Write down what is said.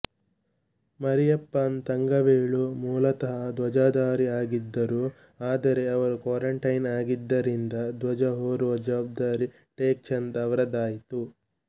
ಮರಿಯಪ್ಪನ್ ತಂಗವೇಲು ಮೂಲತಃ ಧ್ವಜಧಾರಿ ಆಗಿದ್ದರು ಆದರೆ ಅವರು ಕ್ವಾರಂಟೈನ್ ಆಗಿದ್ದರಿಂದ ಧ್ವಜ ಹೊರುವ ಜವಾಬ್ದಾರಿ ಟೆಕ್ ಚಂದ್ ಅವರದಾಯಿತು